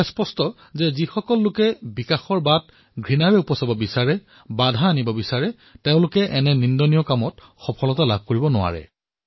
এয়া সত্য যে যিসকলে বিকাশৰ গতি ৰুদ্ধ কৰিব বিচাৰে হিংসা বিয়পাব খোজে তেওঁলোকৰ অপবিত্ৰ চিন্তা কেতিয়াও কাৰ্যকৰী নহয়